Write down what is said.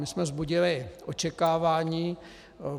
My jsme vzbudili očekávání.